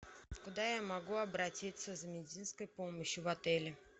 куда я могу обратиться за медицинской помощью в отеле